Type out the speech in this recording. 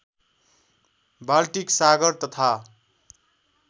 Baltic सागर तथा